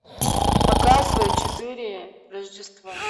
показывай четыре рождества